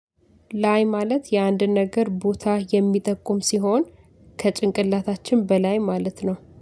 ላይ ማለት የአንድን ነገር ቦታ የሚጠቁም ሲሆን ከጭንቅላታችን በላይ ማለት ነው